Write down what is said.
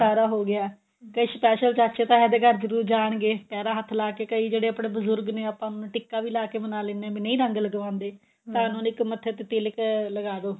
ਸਾਰਾ ਹੋ ਗਿਆ ਤੇ special ਚਾਚੇ ਤਾਇਆਂ ਦੇ ਘਰ ਜਰੂਰ ਜਾਣਗੇ ਪੈਰਾਂ ਹੱਥ ਲਾ ਕੇ ਕਈ ਜਿਹੜੇ ਆਪਣੇ ਬਜੁਰਗ ਨੇ ਆਪਾਂ ਨੂੰ ਟਿੱਕਾ ਵੀ ਲਾਕੇ ਮਨਾ ਲਿੰਦੇ ਹਾਂ ਵੀ ਨਹੀਂ ਰੰਗ ਲਗਵਾਉਂਦੇ ਇੱਕ ਮੱਥੇ ਤੇ ਤਿਲਕ ਲਗਾ ਦੋ